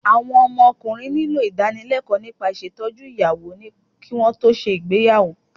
Àwọn ọmọkùnrin nílò ìdánilẹ́kọ̀ọ́ nípa ìṣètọ́jú ìyàwó kí wọn tó ṣe ìgbéyàwó